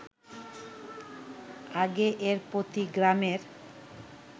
আগে এর প্রতি গ্রামের